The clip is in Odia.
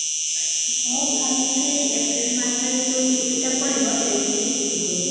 ହଁ, ଭାବିଛି april ମାସରେ ଯଉ ଛୁଟିଟା ପଡିବ ସେଇଥିରେ ଯିବି ବୋଲି